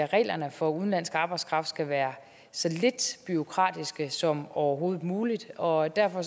reglerne for udenlandsk arbejdskraft skal være så lidt bureaukratiske som overhovedet muligt og derfor